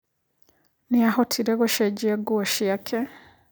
Nĩahotire gũcenjia nguo ciake.